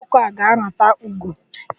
Ụmụ ọkụkọ a ga-arata ugo.